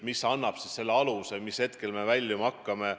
See ehk annab aluse ennustada, millal me kriisist väljuma hakkame.